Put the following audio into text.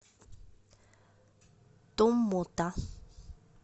томмота